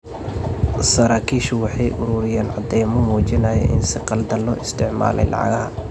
Saraakiishu waxay ururiyeen caddaymo muujinaya in si khaldan loo isticmaalay lacagaha.